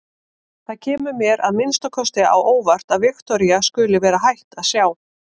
Það kemur mér að minnsta kosti á óvart að Viktoría skuli vera hætt að sjá.